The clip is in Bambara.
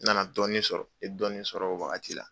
N nana dɔɔnin sɔrɔ, n ɲe dɔɔnin sɔrɔ, o wagati la.